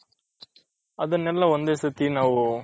ಅದನ್ನೆಲ್ಲಾ ಒಂದೇ ಸತಿ ನಾವು